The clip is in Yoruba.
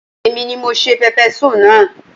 Èmi ni mo se pẹpẹsúù naa